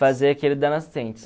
Fazer aquele da nascentes.